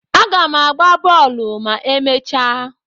Aga m agba bọọlụ ma emechaa.